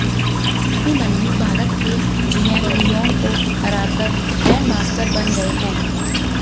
अभिमन्यु भारत के GM Leon को हराकर ग्रैंडमास्टर बन गए हैं